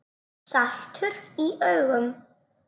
Saltur í augum.